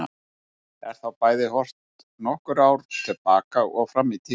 Er þá bæði horft nokkur ár til baka og fram í tímann.